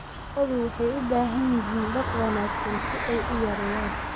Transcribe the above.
Lo'du waxay u baahan yihiin daaq wanaagsan si ay u yareeyaan.